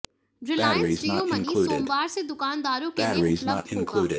Reliance Jio money सोमवार से दुकानदारों के लिए उपलब्ध होगा